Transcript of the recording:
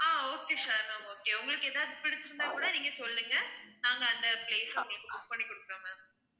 ஆஹ் okay சரி தான் okay உங்களுக்கு ஏதாவது பிடிச்சி இருந்தா கூட நீங்க சொல்லுங்க நாங்க அந்த place அ உங்களுக்கு book பண்ணி குடுக்கிறோம் ma'am